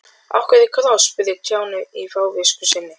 Af hverju kross? spurði Stjáni í fávisku sinni.